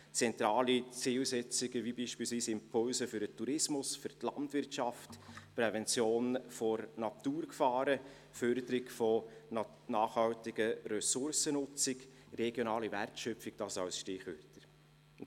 Zentrale Zielsetzungen wie beispielsweise Impulse für den Tourismus, für die Landwirtschaft, Prävention von Naturgefahren, Förderung nachhaltiger Ressourcennutzung, regionale Wertschöpfung – das sind Stichwörter.